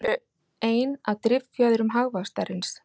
Þeir eru ein af driffjöðrum hagvaxtarins